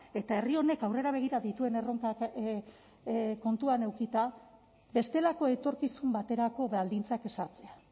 eta herri honek aurrera begira dituen erronkak kontuan edukita bestelako etorkizun baterako baldintzak ezartzea